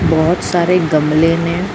ਬਹੁਤ ਸਾਰੇ ਗਮਲੇ ਨੇ।